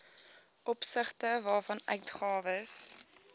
opsigte waarvan uitgawes